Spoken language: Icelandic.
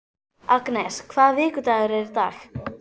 Agnes, hvaða vikudagur er í dag?